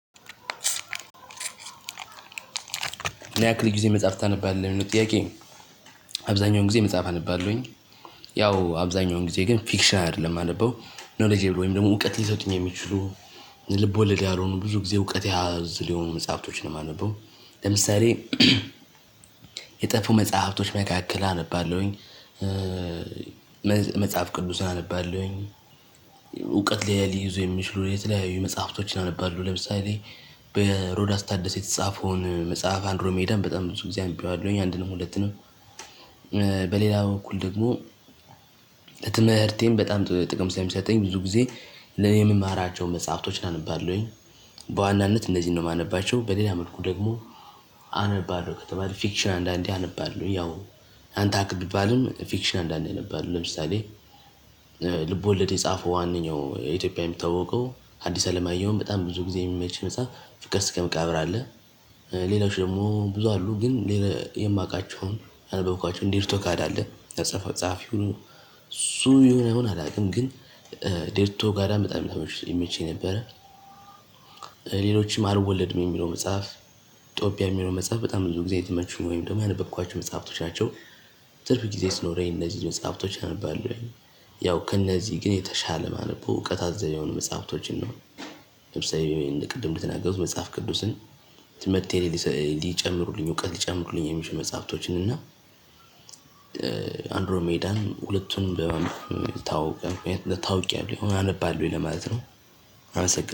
ምን ያክል ጊዜ መጽሐፍ ታነባለህ የሚሉው ጥያቄ? አብዛኛውን ጊዜ መጽሐፍ አነባለሁኝ። ያው አብዛኛውን ጊዜ ግን ፊክሽን አይደለም ማነበው ኖሌጅ ወይም ደግሞ እውቀት ሊሰጡኝ የሚችሉ ልቦወልድ ያልሆኑ ብዙ ጊዜ እውቀት የያዙትን የሆኑ መጽሀፍቶች ነው ማነበው። ለምሳሌ የጠፉ መጽሀፍቶች መካከል አነባለሁኝ። መጽሐፍ ቅዱስ አነባለሁኝ። እውቀት ላይ ሊይዙ የሚችሉ የተለያዩ መጽሐፍቶችን አነባለሁ ለምሳሌ በሮዳስ ታደስ የተጻፈውን መጽሐፍ አንድሮሜዳም በጣም ብዙ ጊዜ አምብቢያለሁኝ አንድም ነው ሁለትም ነው። በሌላ በኩል ደግሞ ለትምህርቴም በጣም ጥቅም ስለሚሰጠኝ ብዙ ጊዜ ለእኔ ምማራቸው መጽሀፍቶች አነባለሁኝ። በዋናነት እነዚህን ነው የማነባቸው። በሌላ መልኩ ደግሞ አነባለሁ ከተባለ ፊክሽን አንዳንዴ አነባለሁ ያው አንተ አክ ብባልም ፊክሽን አንዳንዴ አነባለሁ። ለምሳሌ ልቦለድ የጻፈው ዋነኛው ኢትዮጵያዊ የሚታወቀው አዲስ አለማየሁን በጣም ብዙ ጊዜ የሚመች መጽሐፍ ፍቅር እስከመቃብር አለ። ሌላውቾ ደግሞ ብዙ አሉ ግን የማውቃቸውን ያነበብኳቸው ዴርቶጋዳ አለ ያጸፈው ጸሀፊው እሱ የሁነ አይሁን አላውቅም። ግን ዴርቶጋዳ በጣም ላይ ይመቸኝ ነበረ። ሌሎችም አልወለድም የሚለው መጽሐፍ ኢትዮጵያ የሚለው መጽሐፍ በጣም ብዙ ጊዜ የተመቹም ወይም ደግሞ ያነበብኳቸው መጽሐፍቶች ናቸው። ትርፍ ጊዜ ሲኖረኝ እነዚህ መጽሐፍቶች አነባለሁኝ። ያው ከእነዚህ ግን የተሻለ ማነበው እውቀት አዘል የሆኑ መጽሐፍቶችን ነው። ለምሳሌ ቅድም እንደተናገርኩት መጽሐፍ ቅዱስን ትምህርቴ ላይ ሊጨምሩልኝ እውቀት ሊጨምሩልኝ የሚችሉ መጽሐፍቶችን እና አንድሮሜዳን ሁለቱን በማንበብ ታውቂያለሁ ታውቂያለሁ ይህው አነባለሁኝ ለማለት ነው። አመሰግናለሁ